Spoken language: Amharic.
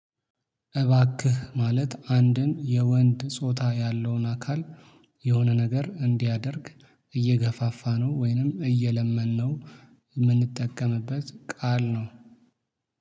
እባክህ ማለት አንድን የወንድ ጾታ ያለውን አካል የሆነ ነገር እንዲያደርግ እየገፋፋነው ወይንም እየለመንነው የምንጠቀምበት ቃል ነው